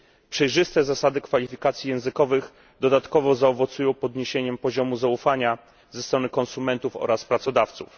Przejrzyste zasady kwalifikacji językowych dodatkowo zaowocują podniesieniem poziomu zaufania ze strony konsumentów oraz pracodawców.